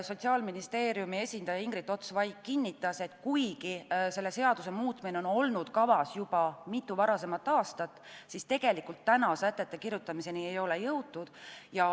Sotsiaalministeeriumi esindaja Ingrid Ots-Vaik kinnitas, et kuigi selle seaduse muutmine on olnud kavas juba mitu aastat, siis tegelikult täna ei ole veel sätete kirjutamiseni jõutud.